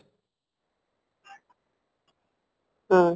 ଉଁ